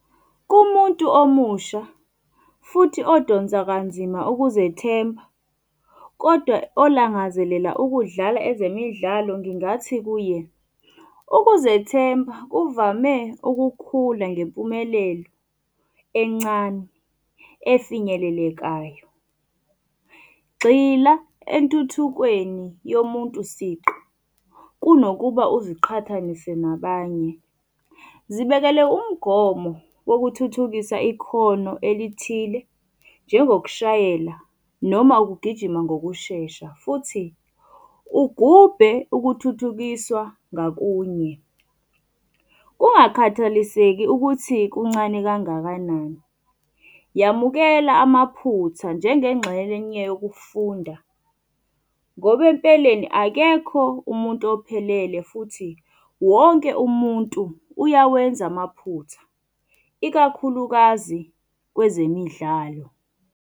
Kumuntu omusha futhi odonsa kanzima ukuzethemba, kodwa olangazelela ukudlala ezemidlalo ngingathi kuye, ukuzethemba kuvame ukukhula ngempumelelo encane efinyelelekayo. Gxila entuthukweni yomuntu siqu, kunokuba uziqhathanise nabanye. Zibekele umgomo wokuthuthukisa Ikhono elithile, njengokushayela noma ukugijima ngokushesha futhi ugubhe ukuthuthukiswa ngakunye. Kungakhathaliseki ukuthi kuncane kangakanani. Yamukela amaphutha njengengxenye yokufunda, ngoba empeleni akekho umuntu ophelele futhi wonke umuntu uyawenza amaphutha, ikakhulukazi kwezemidlalo.